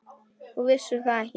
Þú vissir það ekki.